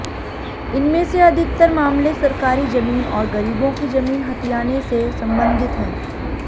इनमें से अधिकतर मामले सरकारी जमीन और गरीबों की जमीन हथियाने से संबंधित हैं